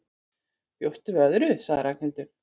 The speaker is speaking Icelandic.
Bjóstu við öðru? sagði Ragnhildur.